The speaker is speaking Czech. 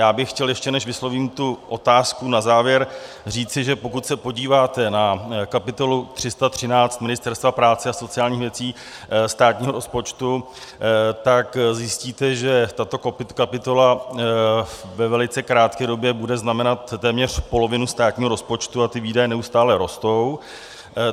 Já bych chtěl, ještě než vyslovím tu otázku na závěr, říci, že pokud se podíváte na kapitolu 313 Ministerstva práce a sociálních věcí státního rozpočtu, tak zjistíte, že tato kapitola ve velice krátké době bude znamenat téměř polovinu státního rozpočtu, a ty výdaje neustále rostou.